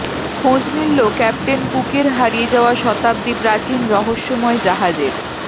খোঁজ মিলল ক্যাপ্টেন কুকের হারিয়ে যাওয়া শতাব্দী প্রাচীন রহস্যময় জাহাজের